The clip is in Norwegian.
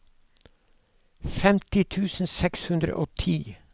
femti tusen seks hundre og ti